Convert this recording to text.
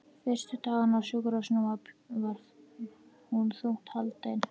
Fyrstu dagana á sjúkrahúsinu var hún þungt haldin.